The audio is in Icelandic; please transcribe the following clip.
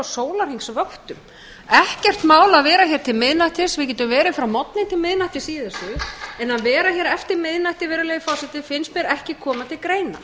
sólarhringsvöktum ekkert mál að vera hér til miðnættis við getum verið frá morgni til miðnættis í þessu en að vera hér eftir miðnætti finnst mér ekki koma til greina